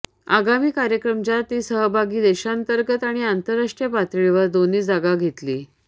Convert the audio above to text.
आगामी कार्यक्रम ज्या ती सहभागी देशांतर्गत आणि आंतरराष्ट्रीय पातळीवर दोन्ही जागा घेतली